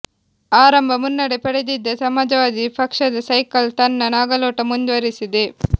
ಆರಂಭ ಮುನ್ನಡೆ ಪಡೆದಿದ್ದ ಸಮಾಜವಾದಿ ಪಕ್ಷದ ಸೈಕಲ್ ತನ್ನ ನಾಗಲೋಟ ಮುಂದುವರೆಸಿದೆ